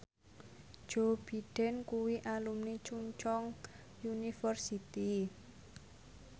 Joe Biden kuwi alumni Chungceong University